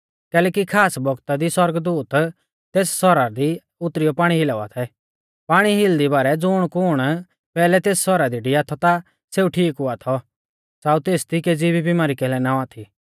कैलैकि खास बौगता दी सौरगदूत तेस सौरा दी उतरियौ पाणी हिलावा थै पाणी हिलदी बारै ज़ुणकुण पैहलै तेस सौरा दी डिया थौ ता सेऊ ठीक हुआ थौ च़ाउ तेसदी केज़ी भी बिमारी कैलै ना औआ थी